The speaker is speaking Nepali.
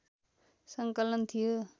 सङ्कलन थियो